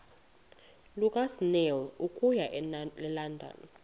lukasnail okuya elondon